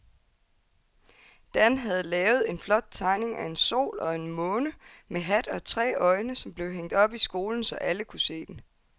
Dan havde lavet en flot tegning af en sol og en måne med hat og tre øjne, som blev hængt op i skolen, så alle kunne se den.